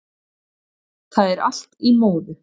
Það er allt í móðu